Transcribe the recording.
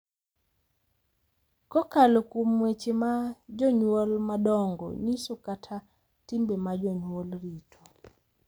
Kokalo kuom weche ma jonyuol madongo nyiso kata timbe ma jonyuol rito, .